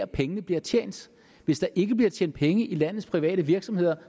pengene bliver tjent hvis der ikke bliver tjent penge i landets private virksomheder